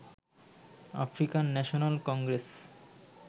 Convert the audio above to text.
African National Congress